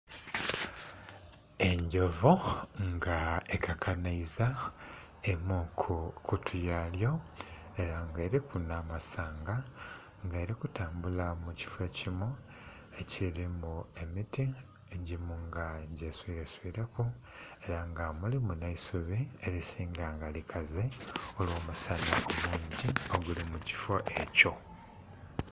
Endhovu nga ekakanhaiza emu ku kutu yalyo, ela nga eliku nh'amasanga, nga eli kutambula mu kifo ekimu ekilimu emiti, egimu nga gyeswiileswiileku. Ela nga mulimu nh'eisubi elisinga nga likaze olw'omusana omungi oguli mu kifo ekyo.